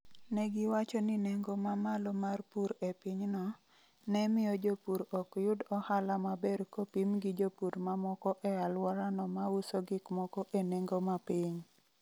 Ne giwacho ni nengo ma malo mar pur e pinyno, ne miyo jopur ok yud ohala maber kopim gi jopur mamoko e alworano ma uso gik moko e nengo ma piny.